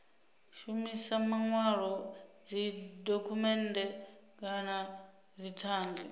shumisa manwalo dzidokhumennde kana dzithanzi